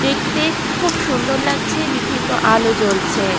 দেখতে খুব সুন্দর লাগছে বিভিন্ন আলো জ্বলছে।